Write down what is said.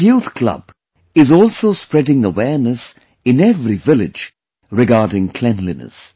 This youth club is also spreading awareness in every village regarding cleanliness